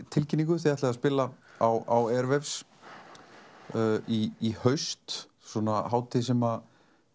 tilkynningu þið ætlið að spila á Airwaves í haust svona hátíð sem